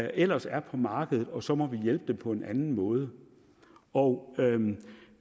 ellers er på markedet og så må hjælpe dem på en anden måde og